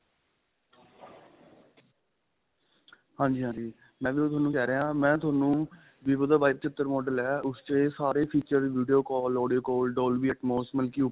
ਹਾਂਜੀ ਹਾਂਜੀ ਮੈਂ ਵੀ ਉਹੀ ਤੁਹਾਨੂੰ ਕਹਿ ਰਿਹਾ ਮੈਂ ਤੁਹਾਨੂੰ vivo ਦਾ Y ਪਚਤਰ model ਏ ਉਸ ਚ ਇਹ ਸਾਰੇ feature ਮਿਲਦੇ ਏ call audio call